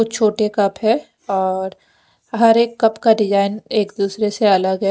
छोटे कप है और हर एक कप का डिजाइन एक दुसरे से अलग है।